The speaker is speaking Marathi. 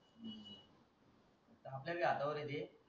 आपल्या भी हाता वर हे ते